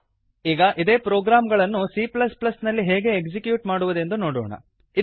ಈಗ ಇದೇ ಪ್ರೊಗ್ರಾಮ್ ಗಳನ್ನು c ನಲ್ಲಿ ಹೇಗೆ ಎಕ್ಸಿಕ್ಯೂಟ್ ಮಾಡುವುದೆಂದು ನೋಡೋಣ